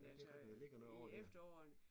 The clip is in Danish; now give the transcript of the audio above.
Ja det rigtig der ligger noget over der